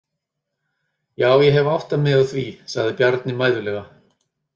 Já, ég hef áttað mig á því, sagði Bjarni mæðulega.